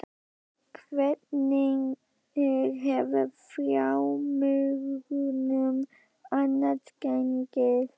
Hvernig hefur fjármögnun annars gengið?